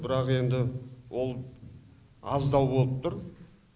бірақ енді ол аздау болып тұр